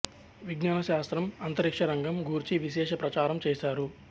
విజ్ఞాన శాస్త్రం అంతరిక్ష రంగం గూర్చి విశేష ప్రచారం చేసారు